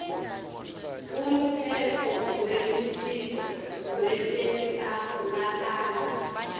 umtsetfo welusito lwetenhlalakanhle